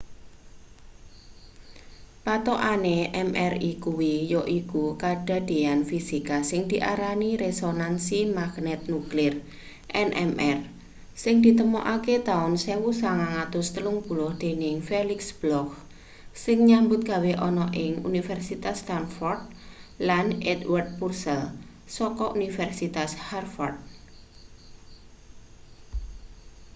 pathokane mri kuwi yaiku kadadean fisika sing diarani resonansi magnet nuklir nmr sing ditemokake taun 1930 dening felix bloch sing nyambut gawe ana ing universitas stanford lan edward purcell saka universitas harvard